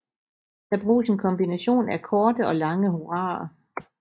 Der bruges en kombination af korte og lange hurraer